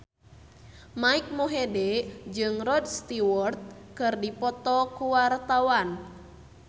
Mike Mohede jeung Rod Stewart keur dipoto ku wartawan